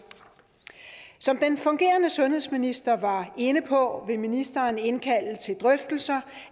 som den fungerende sundhedsminister var inde på vil ministeren indkalde til drøftelser